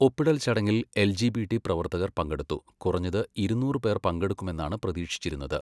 ഒപ്പിടൽ ചടങ്ങിൽ L G B T പ്രവർത്തകർ പങ്കെടുത്തു, കുറഞ്ഞത് ഇരുന്നൂറ് പേർ പങ്കെടുക്കുമെന്നാണ് പ്രതീക്ഷിച്ചിരുന്നത്.